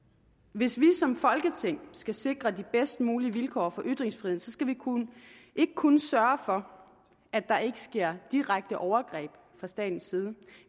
hvis vi som folketing skal sikre de bedst mulige vilkår for ytringsfriheden skal vi ikke kun sørge for at der ikke sker direkte overgreb fra statens side